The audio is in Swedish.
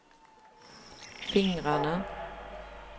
fingrarna